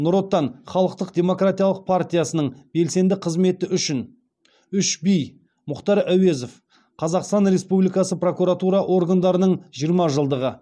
нұр отан халықтық демократиялық партиясының белсенді қызметі үшін үш би мұхтар әуезов қазақстан республикасы прокуратура органдарының жиырма жылдығы